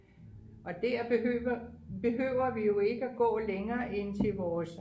og der behøver behøver vi jo ikke at gå længere end til vores